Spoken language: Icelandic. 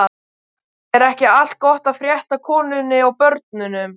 Er ekki allt gott að frétta af konunni og börnunum?